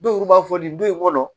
Dɔw b'a fɔ nin du in kɔnɔ